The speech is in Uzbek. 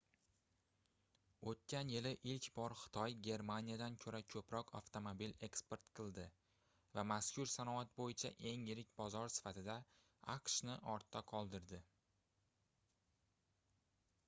oʻtgan yili ilk bor xitoy germaniyadan koʻra koʻproq avtomobil eksport qildi va mazkur sanoat boʻyicha eng yirik bozor sifatida aqshni ortda qoldirdi